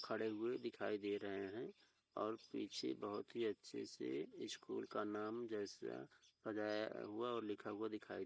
खड़े हुऐ दिखाई दे रहे हैं और पीछे बहोत ही अच्छे से स्कूल का नाम जैसा सजाया हुआ और लिखा हुआ दिखाई --